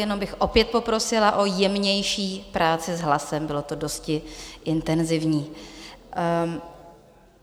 Jenom bych opět poprosila o jemnější práci s hlasem, bylo to dosti intenzivní.